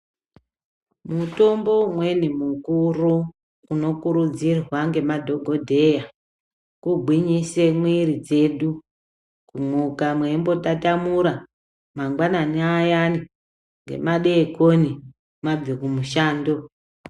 Mutombo umweni mukuru unokuridzirwa ngemadhokodheya kugwinyise muwiri dzedu kumuka mweimbotatamura mangwanani ayani ngemadekoni mabve kumushando.